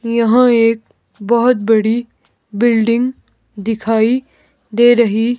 यहां एक बहुत बड़ी बिल्डिंग दिखाई दे रही--